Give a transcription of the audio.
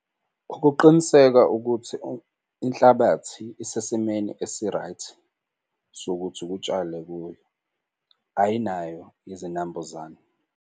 Ukuqiniseka ukuthi inhlabathi isesimeni esi-right, sokuthi kutshalwe kuyo ayinayo izinambuzane.